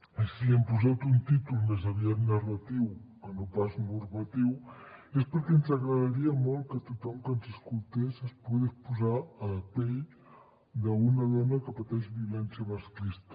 i si li hem posat un títol més aviat narratiu que no pas normatiu és perquè ens agradaria molt que tothom que ens escoltés es pogués posar a la pell d’una dona que pateix violència masclista